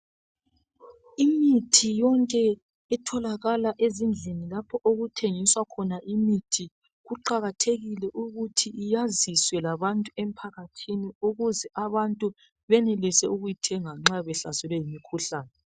imithi yonke etholakala ezindlini lapho okuthengiswa khona imithi kuqakathekile ukuthi iyaziswe labantu emphakathini ukuze abantu benelise ukuyithenga nxa behlaselwe yimikhuhlane